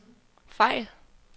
fejl